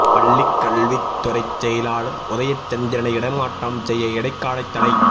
பள்ளிக் கல்வித் துறை செயலாளர் உதயசந்திரனை இடமாற்றம் செய்ய இடைக்காலத் தடை